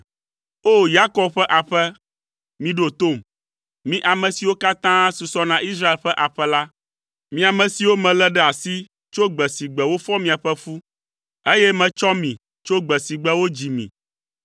“O! Yakob ƒe aƒe, miɖo tom. Mi ame siwo katã susɔ na Israel ƒe aƒe la, mi ame siwo melé ɖe asi tso gbe si gbe wofɔ miaƒe fu, eye metsɔ mi tso gbe si gbe wodzi mi